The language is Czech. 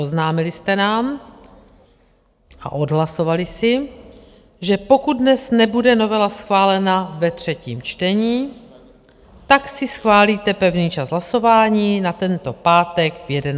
Oznámili jste nám a odhlasovali si, že pokud dnes nebude novela schválena ve třetím čtení, tak si schválíte pevný čas hlasování na tento pátek v 11 hodin.